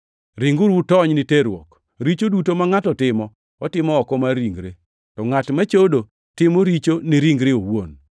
Ringuru utony ni terruok. Richo duto ma ngʼato timo otimo oko mar ringre, to ngʼat machodo timo richo ni ringre owuon.